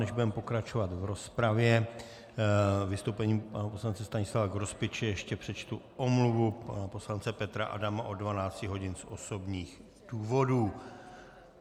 Než budeme pokračovat v rozpravě vystoupením pana poslance Stanislava Grospiče, ještě přečtu omluvu pana poslance Petra Adama od 12 hodin z osobních důvodů.